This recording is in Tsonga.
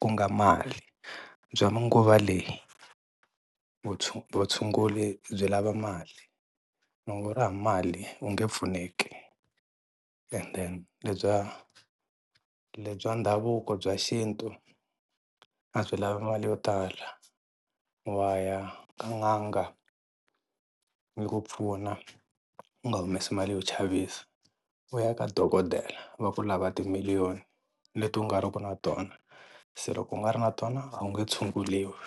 ku nga mali bya manguva leyi vutshunguri byi lava mali loko u ri hava mali u nge pfuneki and then le bya le bya ndhavuko bya xintu a byi lavi mali yo tala, wa ya ka n'anga yi ku pfuna u nga humesi mali yo chavisa, u ya ka dokodela va ku lava timiliyoni leti u nga ri ku na tona se loko u nga ri na tona a wu nge tshunguriwi.